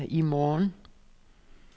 i morgen